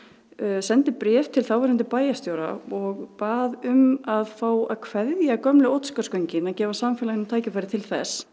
sendi bréf til þáverandi bæjarstjóra og bað um að fá að kveðja gömlu Oddsskarðsgöngin og gefa samfélaginu tækifæri til þess